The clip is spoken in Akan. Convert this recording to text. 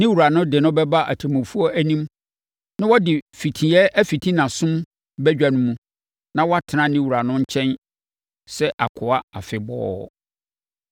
ne wura no de no bɛba atemmufoɔ anim na wɔde fitiiɛ afiti nʼasom badwa mu na watena ne wura no nkyɛn sɛ akoa afebɔɔ.